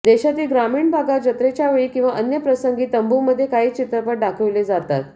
देशातील ग्रामीण भागात जत्रेच्यावेळी किंवा अन्य प्रसंगी तंबूमध्ये काही चित्रपट दाखवले जातात